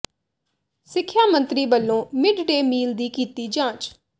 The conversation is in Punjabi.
ਸਿਿਖਆ ਮੰਤਰੀ ਵੱਲੋਂ ਮਿਡ ਡੇ ਮੀਲ ਦੀ ਕੀਤੀ ਜਾਂਚ